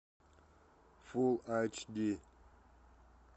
фулл айч ди